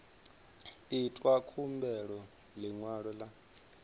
itwa khumbelo ya ḽiṅwalo ḽa